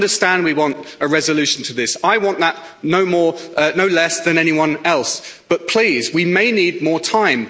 I understand we want a resolution to this, I want that no less than anyone else, but please, we may need more time.